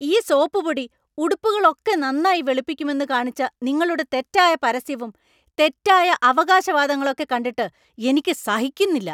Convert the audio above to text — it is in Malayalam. ഈ സോപ്പുപോടി ഉടുപ്പുകളൊക്കെ നന്നായി വെളുപ്പിക്കുമെന്ന് കാണിച്ച നിങ്ങളുടെ തെറ്റായ പരസ്യവും തെറ്റായ അവകാശവാദങ്ങളൊക്കെ കണ്ടിട്ട് എനിക്ക് സഹിക്കുന്നില്ല.